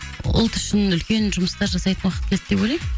ұлт үшін үлкен жұмыстар жасайтын уақыт келді деп ойлаймын